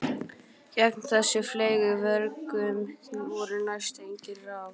Gegn þessum fleygu vörgum voru næstum engin ráð.